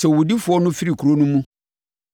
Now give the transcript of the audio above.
“Sɛ owudifoɔ no firi kuro no mu